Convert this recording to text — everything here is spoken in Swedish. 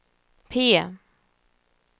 P